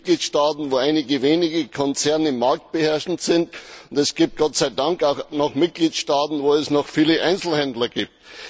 Es gibt Mitgliedstaaten, wo einige wenige Konzerne marktbeherrschend sind, und es gibt Gott sei Dank auch Mitgliedstaaten, wo es noch viele Einzelhändler gibt.